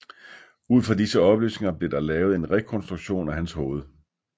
Ud fra disse oplysninger blev der lavet en rekonstruktion af hans hoved